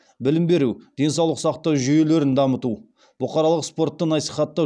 білім беру денсаулық сақтау жүйелерін дамыту бұқаралық спортты насихаттау